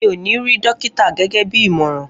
Mi ò ní rí dókítà gẹ́gẹ́ bí ìmọ̀ràn